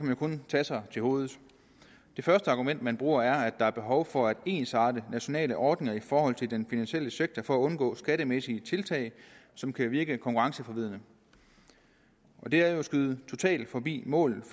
man kun tage sig til hovedet det første argument man bruger er at der er behov for ensartede nationale ordninger i forhold til den finansielle sektor for at undgå skattemæssige tiltag som kan virke konkurrenceforvridende det er jo at skyde totalt forbi målet